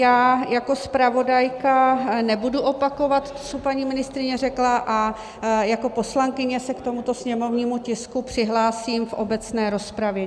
Já jako zpravodajka nebudu opakovat, co paní ministryně řekla, a jako poslankyně se k tomuto sněmovnímu tisku přihlásím v obecné rozpravě.